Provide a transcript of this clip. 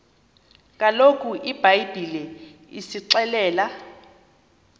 kaloku ibhayibhile isixelela